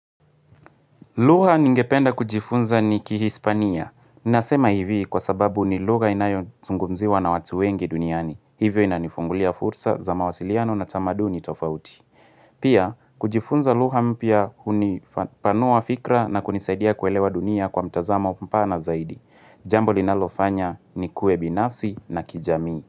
Lugha ningependa kujifunza ni kihispania. Nasema hivi kwa sababu ni lugha inayozungumziwa na watu wengi duniani. Hivyo inanifungulia fursa za mawasiliano na tamaduni tofauti. Pia kujifunza lugha mpya hunipanua fikra na kunisaidia kuelewa dunia kwa mtazamo mpana zaidi. Jambo linalofanya nikuwe binafsi na kijamii.